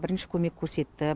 бірінші көмек көрсетті